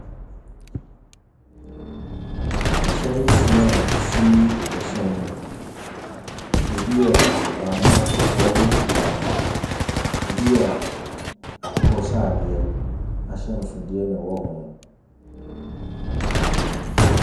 Ahyɛn nsia a ɛsi ɛhyɛn mu. Ɛbi yɛ ahabammono, kɔkɔɔ ne fitaa. Ɛbi yɛ akokɔsradeɛ ahyɛnsodeɛ a ɛwɔ ho.